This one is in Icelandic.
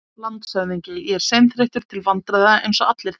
LANDSHÖFÐINGI: Ég er seinþreyttur til vandræða, eins og allir þekkja.